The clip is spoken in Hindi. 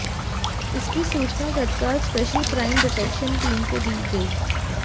इसकी सूचना तत्काल स्पेशल क्राइम डिटेक्शन टीम को दी गई